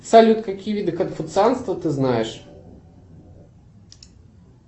салют какие виды конфуцианства ты знаешь